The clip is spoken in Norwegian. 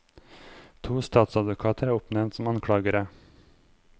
To statsadvokater er oppnevnt som anklagere.